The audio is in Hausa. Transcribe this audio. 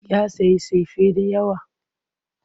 Ya sayi sefa da yawa.